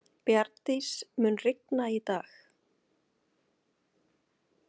Bjarndís, mun rigna í dag?